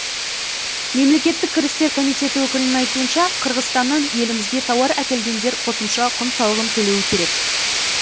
мемлекеттік кірістер комитеті өкілінің айтуынша қырғызстаннан елімізге тауар әкелгендер қосымша құн салығын төлеуі керек